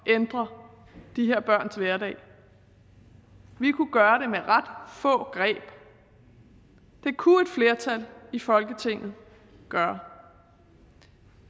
ændre de her børns hverdag vi kunne gøre det med ret få greb det kunne et flertal i folketinget gøre